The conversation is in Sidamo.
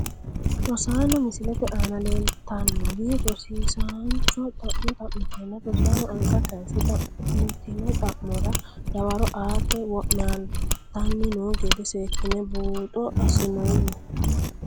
Rosaano misilete aana leelltanori rosiisancho xa`mo xamiteena rosaano anga kayiise xa`mitino xa`mora dawaro aate wo`naltani noo gede seekine buuxo asinoomo.